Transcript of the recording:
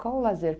Qual o lazer?